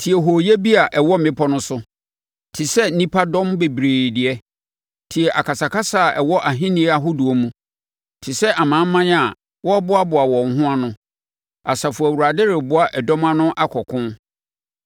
Tie hooyɛ bi a ɛwɔ mmepɔ no so te sɛ nnipa dɔm bebree deɛ! Tie akasakasa a ɛwɔ ahennie ahodoɔ mu, te sɛ amanaman a wɔreboaboa wɔn ho ano! Asafo Awurade reboa ɛdɔm ano akɔ ɔko.